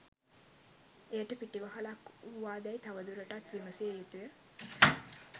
එයට පිටිවහලක් වූවාදැයි තව දුරුටත් විමසිය යුතුය.